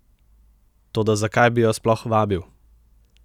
Toda zakaj bi jo sploh vabil?